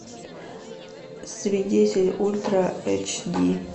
свидетель ультра эйч ди